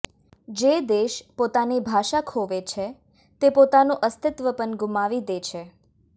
જે દેશ પોતાની ભાષા ખોવે છે તે પોતાનું અસ્તિત્વ પણ ગુમાવી દે છે